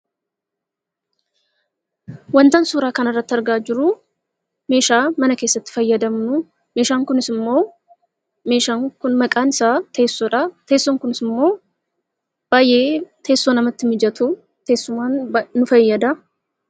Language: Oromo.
Wanta suuraa kanarratti argaa jiru meeshaa mana keessatti fayyadamnu meeshaan kun maqaan isaa teessoodha. Teessoon kunis immoo baay'ee teessoo namatti mijatu teessumaaf nu fayyada.